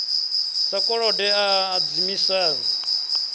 sa kolode a a hadzimiswa